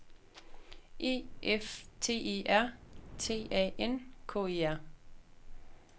E F T E R T A N K E R